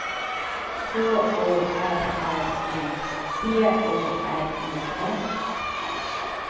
K O R R I D O R E N